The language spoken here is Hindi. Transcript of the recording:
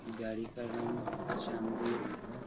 गाड़ी का रंग चाँदी है।